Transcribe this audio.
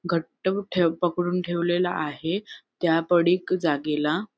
घट्ट ठेव पकडून ठेवलेल आहे त्या पडीक जागेला.